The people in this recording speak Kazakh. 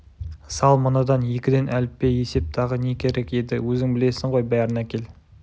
сал мынадан екіден әліппе есеп тағы не керек еді өзің білесің ғой бәрін әкел